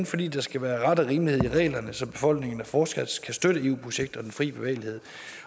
fordi der skal være ret og rimelighed i reglerne så befolkningerne fortsat kan støtte eu projektet og den fri bevægelighed